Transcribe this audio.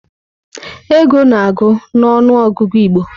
Ego na-agụ na ọnụ ọgụgụ Igbo.